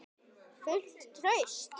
Fullt traust?